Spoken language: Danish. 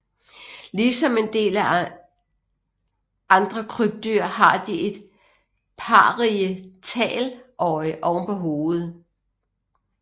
Ligesom en del andre krybdyr har de et parietaløje oven på hovedet